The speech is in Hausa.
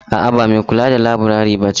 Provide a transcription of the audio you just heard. A' a ba mai kula da laburare bace ba.